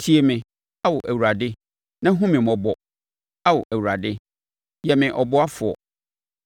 Tie me, Ao Awurade, na hunu me mmɔbɔ! Ao Awurade, yɛ me ɔboafoɔ.”